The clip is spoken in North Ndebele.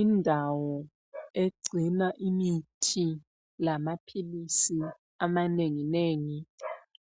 Indawo egcina imithi lamaphilisi amanengi nengi